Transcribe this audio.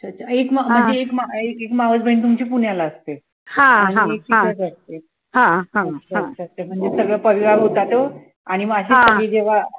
अच्छा एक म म्हणजे एक म एक मावसबहीण तुमची पुण्याला असते आणि एक इकडे असते अच्छा अच्छा म्हणजे सगळा परिवार होता तो आणि म अशी सगळी जेव्हा